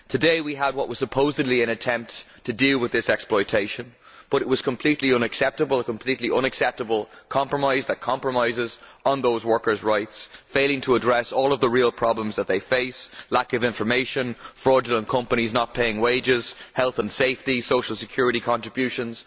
Today we had what was supposedly an attempt to deal with this exploitation but it was a completely unacceptable compromise that compromises on those workersʼ rights, failing to address all of the real problems that they face lack of information, fraudulent companies not paying wages, health and safety, social security contributions